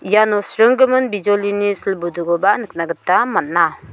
iano sringgimin bijolini sil budukoba nikna gita man·a.